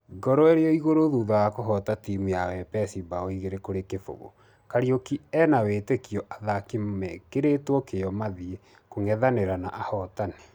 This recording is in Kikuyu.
Ngoro ĩrĩoĩgũrũ thitha wa kũhota timũ ya wepesi bao igĩrĩ kũrĩ kĩfũgũ , kariuki ĩnawĩtikio athaki mekerĩtwo kĩo mathie kũngethanĩra na ahotani.